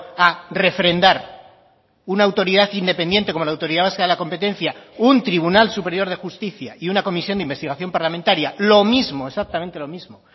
a refrendar una autoridad independiente como la autoridad vasca de la competencia un tribunal superior de justicia y una comisión de investigación parlamentaria lo mismo exactamente lo mismo